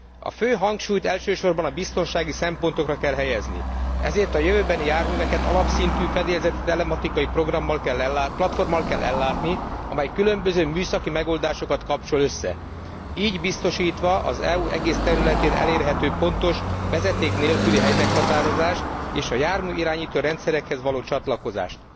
A fő hangsúlyt elsősorban a biztonsági szempontokra kell helyezni, ezért a jövőbeni járműveket alapszintű fedélzeti telematikai platformmal kell ellátni, amely különböző műszaki megoldásokat kapcsol össze, így biztosítva az EU egész területén elérhető pontos vezeték nélküli helymeghatározást és a járműirányító rendszerekhez való csatlakozást.